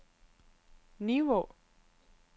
Nivå